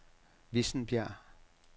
Vissenbjerg